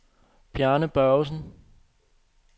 Bjarne Børgesen